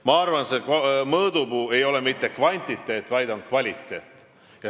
Ma arvan, et mõõdupuu ei ole mitte kvantiteet, vaid on kvaliteet.